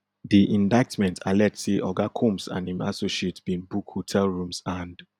di indictment allege say oga combs and im associates bin book hotel rooms and